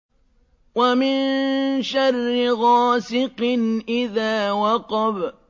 وَمِن شَرِّ غَاسِقٍ إِذَا وَقَبَ